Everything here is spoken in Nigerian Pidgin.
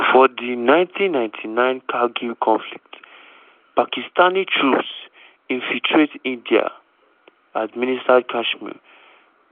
for di 1999 kargil conflict pakistani troops infiltrate indian-administered kashmir;